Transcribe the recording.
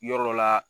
Yɔrɔ dɔ la